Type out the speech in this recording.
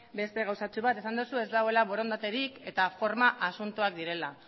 beste gauzatxo bat esan duzu ez dagoela borondaterik eta forma asuntoak direla